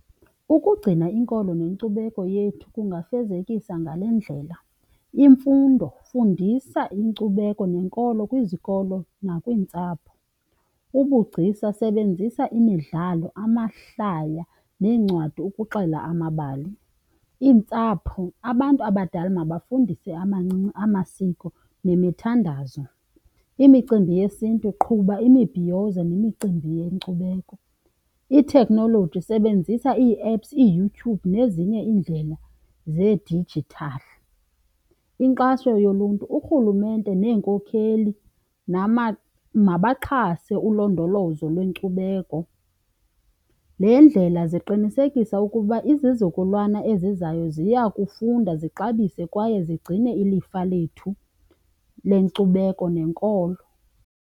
Ukugcina inkolo nenkcubeko yethu kungafezekiswa ngale ndlela. Imfundo, fundisa inkcubeko nenkolo kwizikolo nakwiintsapho. Ubugcisa, sebenzisa imidlalo amahlaya neencwadi ukuxela amabali. Iintsapho, abantu abadala mabafundise abancinci amasiko nemithandazo. Imicimbi yesiNtu, qhuba imibhiyozo nemicimbi yenkcubeko. Ithekhnoloji, sebenzisa ii-apps, iYouTube, nezinye iindlela zedijithali. Inkxaso yoluntu, urhulumente neenkokheli mabaxhase ulondolozo lwenkcubeko. Le ndlela iqinisekisa ukuba izizukulwana ezizayo ziya kufunda zixabise kwaye zigcine ilifa lethu lenkcubeko nenkolo.